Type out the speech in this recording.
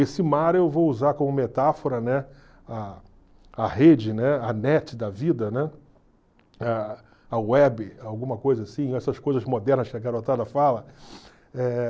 Esse mar eu vou usar como metáfora, né, a a rede, né, a net da vida, né, a a web, alguma coisa assim, essas coisas modernas que a garotada fala.